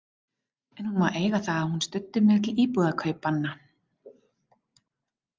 En hún má eiga það að hún studdi mig til íbúðarkaupanna.